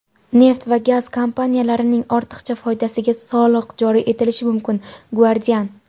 neft va gaz kompaniyalarining ortiqcha foydasiga soliq joriy etilishi mumkin – "Guardian".